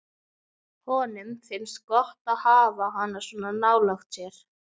Honum finnst gott að hafa hana svona nálægt sér.